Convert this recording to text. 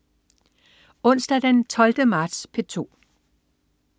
Onsdag den 12. marts - P2: